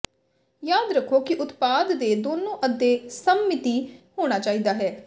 ਯਾਦ ਰੱਖੋ ਕਿ ਉਤਪਾਦ ਦੇ ਦੋਨੋ ਅੱਧੇ ਸਮਮਿਤੀ ਹੋਣਾ ਚਾਹੀਦਾ ਹੈ